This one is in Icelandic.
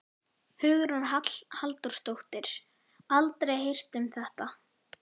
Hugrún Halldórsdóttir: Aldrei heyrt um þetta?